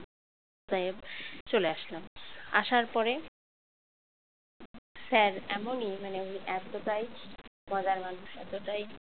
তে চলে আসলাম আসার পরে sir এমনই মানে উনি এতটাই মজার মানুষ এতটাই